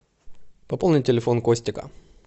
пополни телефон костика